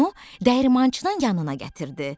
Onu dəyirmançının yanına gətirdi.